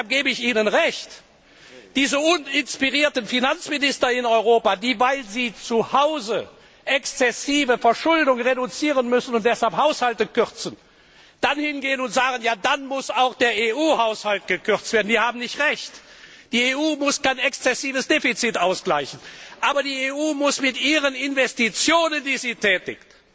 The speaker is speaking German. Und deshalb gebe ich Ihnen recht Diese uninspirierten Finanzminister in Europa, die, weil sie zuhause exzessive Verschuldung reduzieren müssen und deshalb die Haushalte kürzen, dann hingehen und sagen, ja dann muss auch der EU Haushalt gekürzt werden, die haben nicht recht! Die EU muss kein exzessives Defizit ausgleichen, sondern die EU muss mit den Investitionen, die sie tätigt,